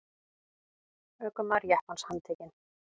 Ökumaður jeppans handtekinn